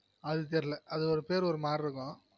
அது தெர்ல அது ஒரு பேரு ஒருமாதிரி இருக்கும்